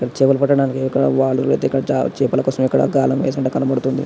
చేపలు పట్టటానికి యొక చేపల కోసం ఇక్కడ గాలం వేసి కనబడుతుంది.